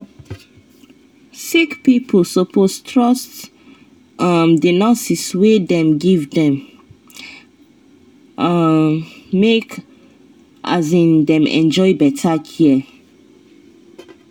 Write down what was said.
sick pipo suppose trust um the nurse wey dem give dem um make um dem enjoy better care.